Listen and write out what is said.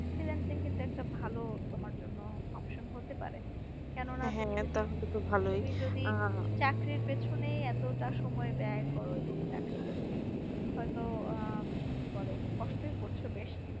freelancing কিন্তু একটা ভালো তোমার জন্য option হতে পারে চাকরির পিছনে এতটা সময় ব্যায় করো এবং চাকরিটা তুমি হয় তো আহ কষ্টই করছো বেশ